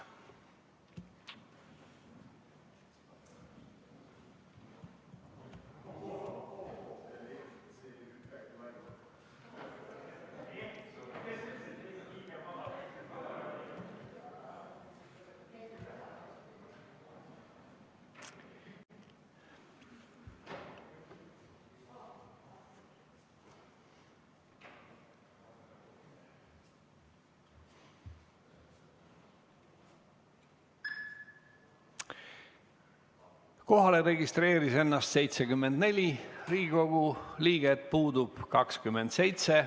Kohalolijaks registreerus 74 Riigikogu liiget, puudub 27.